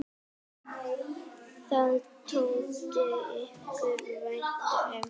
Það þótti okkur vænt um.